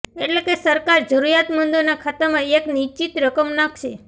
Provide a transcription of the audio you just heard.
એટલે કે સરકાર જરૂરીયાતમંદોના ખાતામાં એક નિશ્ચિત રકમ નાંખશે